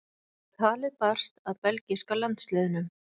Talið barst að belgíska landsliðinu.